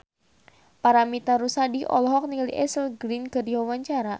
Paramitha Rusady olohok ningali Ashley Greene keur diwawancara